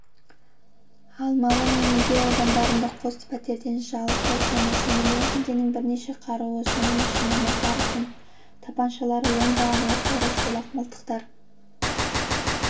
алмалы мен медеу аудандарында қос пәтерден жалпы сомасы миллион теңгенің бірнеше қаруы соның ішінде макаров пен тапаншалары ондаған оқ-дәрі шолақ мылтықтар